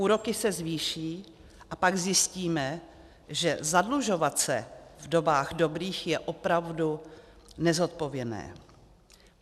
Úroky se zvýší a pak zjistíme, že zadlužovat se v dobách dobrých je opravdu nezodpovědné.